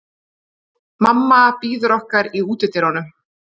Mamma bíður okkar í útidyrunum.